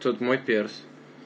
тут мой перс